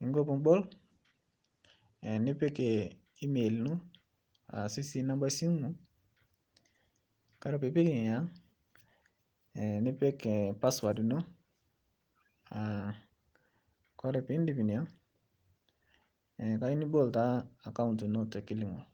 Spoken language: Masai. ningo pibol nipik email ino aashu si namba esimu Kore piipik nenia nepik passwad ino, Kore piindip inia kajo nibol taa akaunt ino tekilimol.